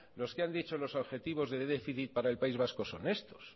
los que han dicho los objetivos de déficit para el país vasco son estos